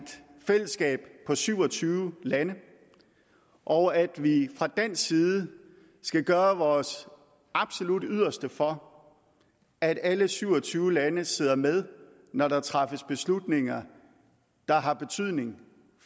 fællesskab af syv og tyve lande og at vi fra dansk side skal gøre vores absolut yderste for at alle syv og tyve lande sidder med når der træffes beslutninger der har betydning